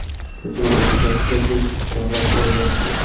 Hujum natijasida besh kishi halok bo‘lgan.